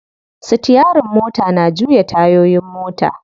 Sitiyarin mota na juya tayoyin mota.